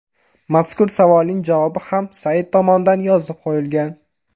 Mazkur savolning javobi ham sayt tomonidan yozib qo‘yilgan.